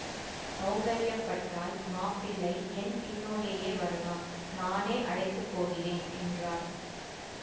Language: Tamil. சௌகரியப்பட்டால் மாப்பிள்ளை என் பின்னோடேயே வரலாம் நானே அழைத்து போகிறேன் என்றார்